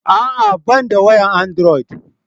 A'a ban da wayan androd